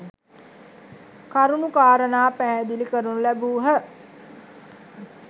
කරුණු කාරණා පැහැදිලි කරනු ලැබූහ.